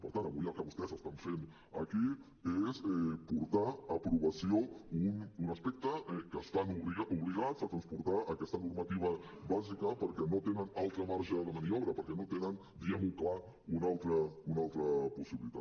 per tant avui el que vostès estan fent aquí és portar a aprovació un aspecte que estan obligats a transportar aquesta normativa bàsica perquè no tenen altre marge de maniobra perquè no tenen diguem ho clar una altra possibilitat